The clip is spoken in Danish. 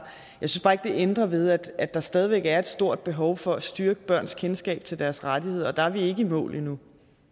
jeg ændrer ved at der stadig væk er et stort behov for at styrke børns kendskab til deres rettigheder og der er vi ikke i mål endnu